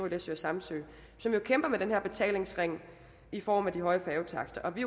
læsø og samsø som jo kæmper med den her betalingsring i form af de høje færgetakster og vi